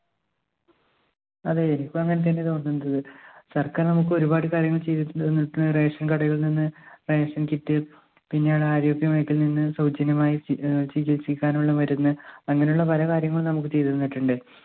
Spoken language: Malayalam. അതെ എനിക്കും അങ്ങനെതന്നെ തോന്നുന്നത്. സർക്കാർ നമ്മുക്ക് ഒരുപാട് കാര്യങ്ങൾ ചെയ്ത തന്നിട്ട് ration കടയിൽനിന്ന് kit പിന്നെ ആരോഗ്യ മേഖലെന്ന് സൗജന്യമായ ഏർ ചികിത്സയ്ക്കാനുള്ള മരുന്ന് അങ്ങനുള്ള പല കാര്യങ്ങളും നമ്മുക്ക് ചെയ്‌ത് തന്നിട്ടുണ്ട്.